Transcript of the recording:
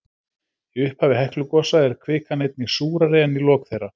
Í upphafi Heklugosa er kvikan einnig súrari en í lok þeirra.